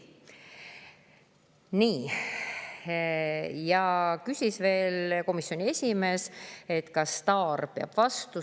Komisjoni esimees küsis veel, kas STAR peab vastu.